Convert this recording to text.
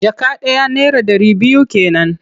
Jaka ɗaya naira ɗari biyu ke nan.